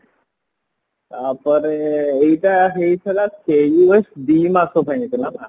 ତାପରେ ଏଇଟା ହେଇଥିଲା ଦି ମାସ ପାଇଁ ହେଇଥିଲା ନାଁ